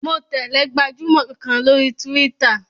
Mo tẹ̀lẹ́ gbajúmọ̀ kan lórí túwítà